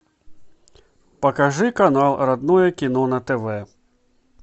покажи канал родное кино на тв